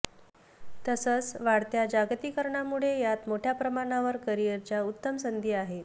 तसंच वाढत्या जागतिकीकरणामुळे यात मोठ्या प्रमाणावर करिअरच्या उत्तम संधी आहेत